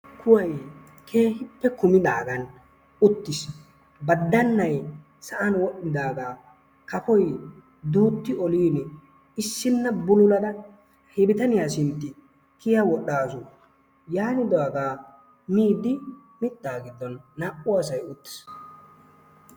Kuway keehippe kummidaagan uttiis. Baddannay sa'an wodhdhidaaga kafoy duutti olin issinna bululada he bitaniya sintti kiya wodhdhaasu. Yaanidaaga miiddi mittaa giddon naa''u asay uttiis.